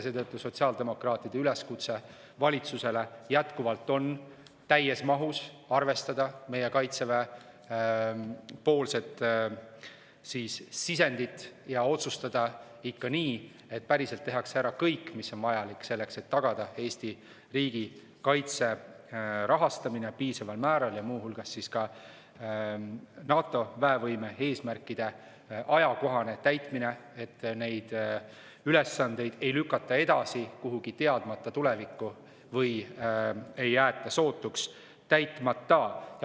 Seetõttu on sotsiaaldemokraatide üleskutse valitsusele jätkuvalt see, et täies mahus arvestada Kaitseväe antud sisendit ja otsustada ikka nii, et tehakse päriselt ära kõik, mis on vajalik selleks, et tagada Eesti riigikaitse rahastamine piisaval määral, muu hulgas NATO väevõime eesmärkide ajakohane täitmine, et neid ülesandeid ei lükataks edasi kuhugi teadmata tulevikku või ei jäetaks sootuks täitmata.